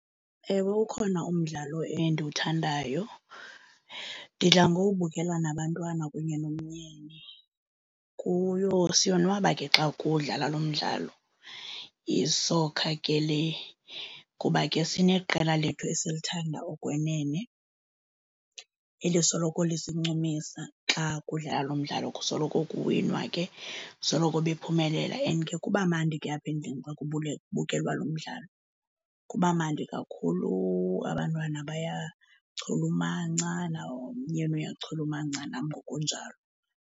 Ewe, ukhona umdlalo endiwuthandayo. Ndidla ngowubukela nabantwana kunye nomyeni. Kuyo, siyonwaba ke xa kudlala lo mdlalo, yisoka ke le kuba ke sineqela lethu esilithanda okwenene elisoloko lisincumisa. Xa kudlala lo mdlalo kusoloko kuwinwa ke, kusoloko bephumelela and ke kuba mandi ke apha endlini xa kubukelwa lo mdlalo. Kuba mandi kakhulu, abantwana bayachulumanca, nomyeni uyachulumanca, nam ngokunjalo